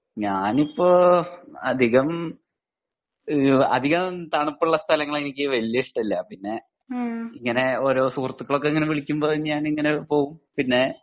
ഞാനിപ്പോ അധികം ഈഹ് അധികം തണുപ്പുള്ള സ്ഥലങ്ങൾ എനിക്ക് വല്യ ഇഷ്ടം ഇല്ല ഇങ്ങനെ ഓരോ സുഹൃത്തുക്കൾ ഒക്കെ വിളിക്കുമ്പോ ഞാൻ ഇങ്ങനെ പോവും പിന്നെ